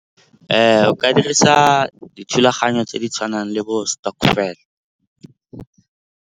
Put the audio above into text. O ka dirisa dithulaganyo tse di tshwanang le bo stokvel.